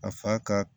A fa ka